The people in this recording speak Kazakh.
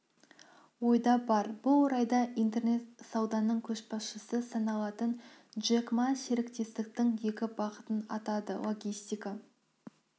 ойда бар бұл орайда интернет сауданың көшбасшысы саналатын джек ма серіктестіктің екі бағытын атады логистика